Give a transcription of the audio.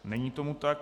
Není tomu tak.